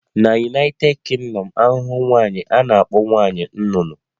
Na United Kingdom, ahụhụ nwaanyi a na-akpọ nwanyị nnụnụ